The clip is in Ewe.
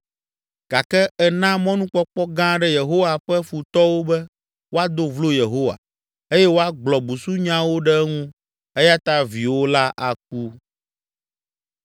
gake èna mɔnukpɔkpɔ gã aɖe Yehowa ƒe futɔwo be woado vlo Yehowa eye woagblɔ busunyawo ɖe eŋu eya ta viwò la aku.”